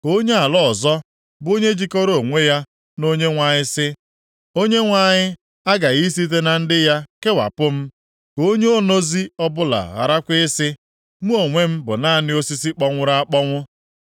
Ka onye ala ọzọ bụ onye jikọrọ onwe ya na Onyenwe anyị sị, “ Onyenwe anyị aghaghị i site na ndị ya kewapụ m.” Ka onye onozi ọbụla gharakwa ị sị “Mụ onwe m bụ naanị osisi kpọnwụrụ akpọnwụ.”